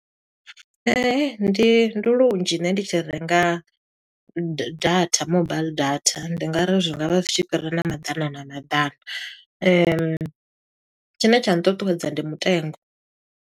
Ndi ndi lunzhi nṋe ndi tshi renga data mobaiḽi data, ndi nga ri zwi nga vha zwi tshi fhira na maḓana na maḓana. Tshine tsha ṱuṱuwedza ndi mutengo.